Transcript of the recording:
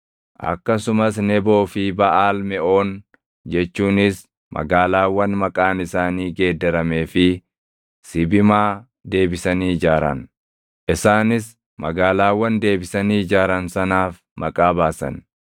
akkasumas Neboo fi Baʼaal Meʼoon jechuunis magaalaawwan maqaan isaanii geeddaramee fi Sibimaa deebisanii ijaaran. Isaanis magaalaawwan deebisanii ijaaran sanaaf maqaa baasan.